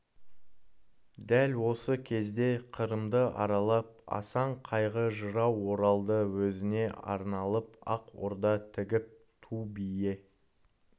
дәл осы кезде қырымды аралап асан қайғы жырау оралды өзіне арналып ақ орда тігіп ту бие